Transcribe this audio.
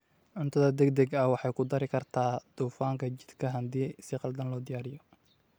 Cuntada degdega ahi waxay ku dari kartaa dufanka jidhka haddii si khaldan loo diyaariyey.